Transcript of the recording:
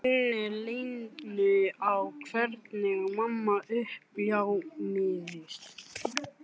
Minnir Lenu á hvernig mamma uppljómaðist.